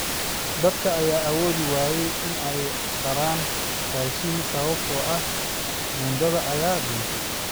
Dadka ayaa awoodi waayay in ay raraan raashin, sababtoo ah buundada ayaa duntay.